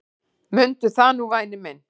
Mundu það nú væni minn.